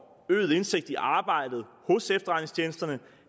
øget indsigt i arbejdet hos efterretningstjenesterne